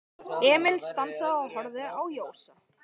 Emil stansaði og horfði á Jósa.